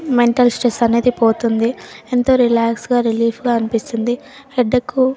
mental stress అనేది పోతుంది ఎంతో రిలాక్స్ గ రేల్ఫే గా అనిపిస్తుంది హెడేక్ --